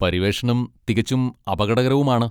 പര്യവേഷണം തികച്ചും അപകടകരവുമാണ്.